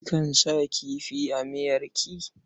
Kikan sa kifi a miyarki?